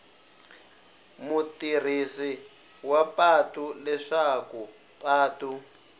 mutirhisi wa patu leswaku patu